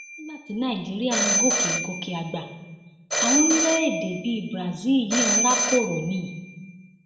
nígbà tí nàìjíríà ń gòkè gòkè àgbà àwọn orílẹèdè bíi brazil yìí ń rákòrò ni